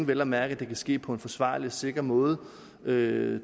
vel at mærke kan ske på en forsvarlig og sikker måde det